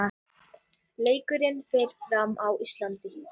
Leikurinn fer fram á Írlandi.